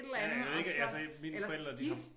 Ja ja jeg ved ikke altså mine forældre de har